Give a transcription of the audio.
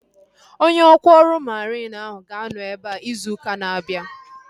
Onye ọkwá ọrụ mariin ahu ga-anọ ebea izu ụka na-abịa